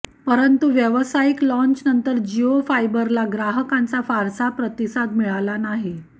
परंतु व्यावसायिक लॉन्चनंतर जिओ फायबरला ग्राहकांचा फारसा प्रतिसाद मिळाला नाही